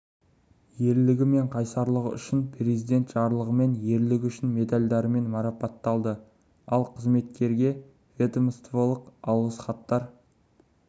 ерлігі мен қайсарлығы үшін президент жарлығымен ерлігі үшін медальдарымен марапатталды ал қызметкерге ведомстволық алғыс хаттар